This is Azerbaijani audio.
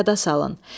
Yada salın.